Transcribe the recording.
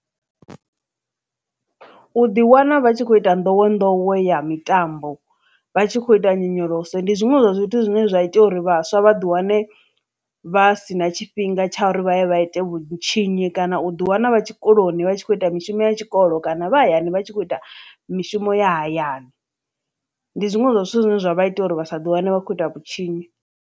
U ḓi wana vha tshi kho ita nḓowenḓowe ya mitambo vha tshi khou ita nyonyoloso ndi zwiṅwe zwa zwithu zwine zwa ita uri vhaswa vha ḓi wane vha sina tshifhinga tsha uri vha ye vha ite vhutshinyi kana u ḓi wana vha tshikoloni vha tshi kho ita mishumo ya tshikolo kana vha hayani vha tshi kho ita mishumo ya hayani ndi zwiṅwe zwa zwithu zwine zwa vha ita uri vha sa ḓi wane vha kho ita vhutshinyi.